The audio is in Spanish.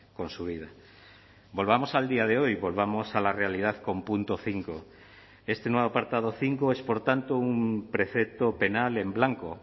con su vida volvamos al día de hoy volvamos a la realidad con punto cinco este nuevo apartado cinco es por tanto un precepto penal en blanco